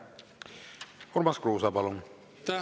Urmas Kruuse, palun!